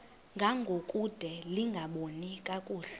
ngangokude lingaboni kakuhle